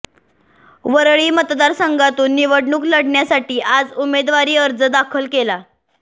वरळी मतदारसंघातून निवडणूक लढण्यासाठी आज उमेदवारी अर्ज दाखल केला